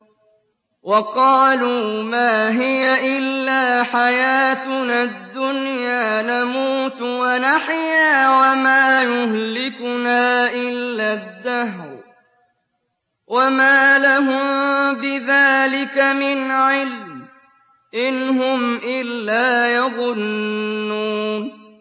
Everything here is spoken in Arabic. وَقَالُوا مَا هِيَ إِلَّا حَيَاتُنَا الدُّنْيَا نَمُوتُ وَنَحْيَا وَمَا يُهْلِكُنَا إِلَّا الدَّهْرُ ۚ وَمَا لَهُم بِذَٰلِكَ مِنْ عِلْمٍ ۖ إِنْ هُمْ إِلَّا يَظُنُّونَ